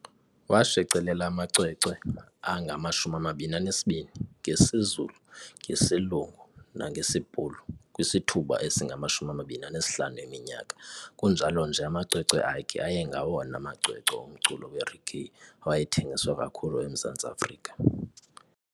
Washicilela amacwecwe angama-22 ngesiZulu, ngesiLungu nangesiBhulu kwisithuba esinganga-25 eminyaka kunjalo nje amacwecwe akhe ayengwawona macwecwe omculo wereggae awayethengiswa kakhulu eMzantsi Afrika.